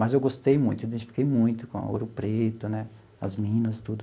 Mas eu gostei muito, identifiquei muito com Ouro Preto né, as minas, tudo.